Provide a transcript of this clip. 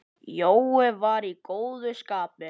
Jói var í góðu skapi.